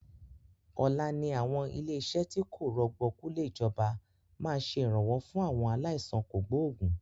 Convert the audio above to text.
Ọ̀la ni àwọn ilé iṣẹ́ tí kò rọ̀gbọ̀kú lè ìjọba máa ṣe Ìrànwọ́ fún àwọn aláìsàn kògbógùn